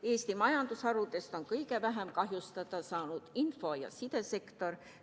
Eesti majandusharudest on kõige vähem kahjustada saanud info- ja sidesektor.